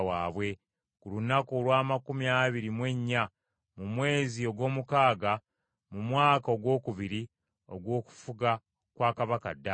ku lunaku olw’amakumi abiri mu ennya mu mwezi ogw’omukaaga mu mwaka ogwokubiri ogw’okufuga kwa kabaka Daliyo.